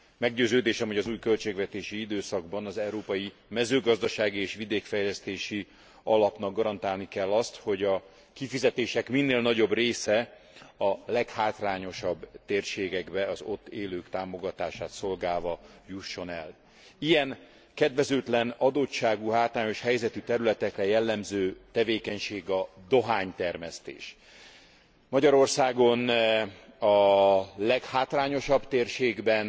Meggyőződésem, hogy az új költségvetési időszakban az Európai Mezőgazdasági és Vidékfejlesztési Alapnak garantálni kell azt, hogy a kifizetések minél nagyobb része a leghátrányosabb térségekbe az ott élők támogatását szolgálva jusson el. Ilyen, kedvezőtlen adottságú hátrányos területekre jellemző tevékenység a dohánytermesztés. Magyarországon a leghátrányosabb térségben,